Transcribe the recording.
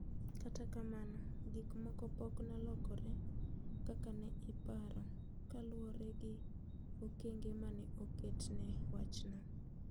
Kata kamano gik moko pok nolokre kaka ne iparo kaluwore gi okenge mane oket ne wachno.